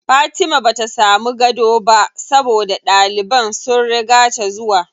Fatima bata samu gado ba saboda ɗaliban sun riga ta zuwa.